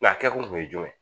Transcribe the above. a kɛ kun ye jumɛn ye